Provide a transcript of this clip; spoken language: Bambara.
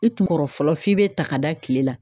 I tun kɔrɔ fɔlɔ f'i bɛ ta ka da kile la